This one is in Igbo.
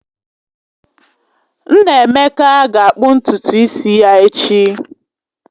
Nnaemeka ga-akpụ ntutu isi ya echi